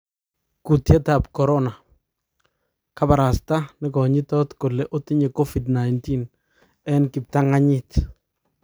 Kutyet tab corona: kabarasta nekonyitot kole otinye covid- 19 eng kipta'nga'nyit.